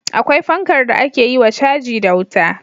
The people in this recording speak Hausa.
Akwai fankar da ake yiwa caji da wuta